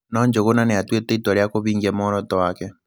No Njugũna nĩ aatuĩte itua rĩa kũvingia muoroto wake.